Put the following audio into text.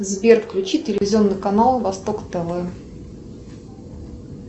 сбер включи телевизионный канал восток тв